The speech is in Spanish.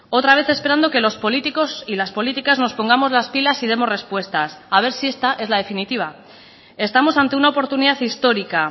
otra vez esperando que los políticos y las políticas nos pongamos las pilas y demos respuestas a ver si esta es la definitiva estamos ante una oportunidad histórica